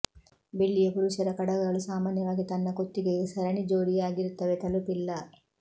ಬೆಳ್ಳಿಯ ಪುರುಷರ ಕಡಗಗಳು ಸಾಮಾನ್ಯವಾಗಿ ತನ್ನ ಕುತ್ತಿಗೆಗೆ ಸರಣಿ ಜೋಡಿಯಾಗಿರುತ್ತವೆ ತಲುಪಿಲ್ಲ